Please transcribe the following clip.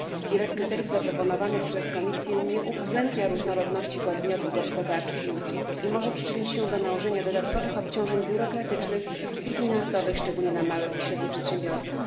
Wiele z kryteriów zaproponowanych przez Komisję nie uwzględnia różnorodności podmiotów gospodarczych i usług oraz może przyczynić się do nałożenia dodatkowych obciążeń biurokratycznych i finansowych, szczególnie na małe i średnie przedsiębiorstwa.